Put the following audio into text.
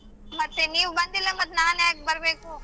ಮತ್ತೆ ನೀವ್ ಬಂದಿಲ್ಲ ಮತ್ತ್ ನಾನ್ ಯಾಕ್ ಬರ್ಬೇಕು.